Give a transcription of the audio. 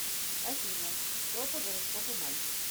афина кто по гороскопу мальцев